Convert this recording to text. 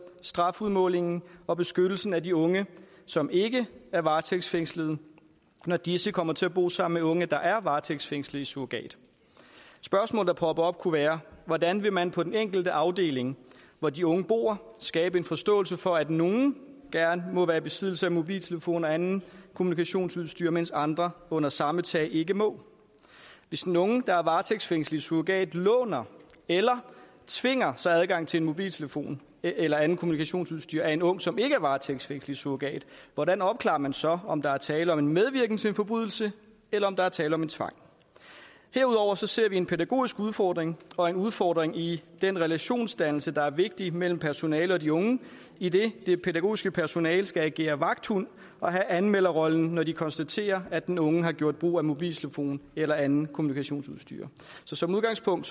strafudmålingen og beskyttelsen af de unge som ikke er varetægtsfængslet når disse kommer til at bo sammen med unge der er varetægtsfængslet i surrogat spørgsmål der popper op kunne være hvordan vil man på den enkelte afdeling hvor de unge bor skabe en forståelse for at nogle gerne må være i besiddelse af mobiltelefon og andet kommunikationsudstyr mens andre under samme tag ikke må hvis den unge der er varetægtsfængslet i surrogat låner eller tvinger sig adgang til en mobiltelefon eller andet kommunikationsudstyr af en ung som ikke er varetægtsfængslet i surrogat hvordan opklarer man så om der er tale om medvirken til en forbrydelse eller om der er tale om tvang herudover ser vi en pædagogisk udfordring og en udfordring i forhold den relationsdannelse der er vigtig mellem personalet og de unge idet det pædagogiske personale skal agere vagthund og have anmelderrollen når de konstaterer at den unge har gjort brug af mobiltelefon eller andet kommunikationsudstyr så som udgangspunkt